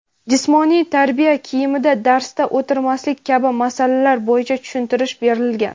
jismoniy tarbiya kiyimida darsda o‘tirmaslik kabi masalalar bo‘yicha tushuntirish berilgan.